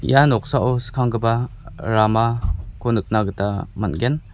ia noksao skanggipa ramako nikna gita man·gen.